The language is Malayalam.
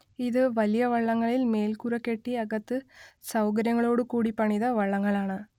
ഇത് വലിയ വള്ളങ്ങളിൽ മേൽക്കൂര കെട്ടി അകത്ത് സൗകര്യങ്ങളോട് കൂടി പണിത വള്ളങ്ങളാണ്